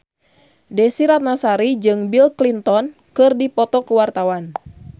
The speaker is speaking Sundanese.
Desy Ratnasari jeung Bill Clinton keur dipoto ku wartawan